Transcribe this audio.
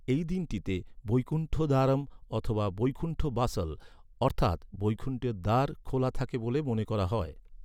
এই দিনটিতে, বৈকুণ্ঠ দ্বারম অথবা বৈকুণ্ঠ বাসল অর্থাৎ ‘বৈকুণ্ঠের দ্বার’ খোলা থাকে বলে মনে করা হয়।